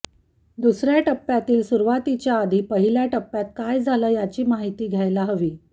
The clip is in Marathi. दुसऱ्या टप्प्यातील सुरुवातीच्या आधी पहिल्या टप्प्यात काय झालं याची माहिती घ्यायला हवी